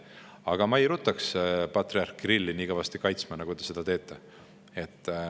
Aga ma ei ruttaks patriarh Kirilli nii kõvasti kaitsma, nagu te seda teete.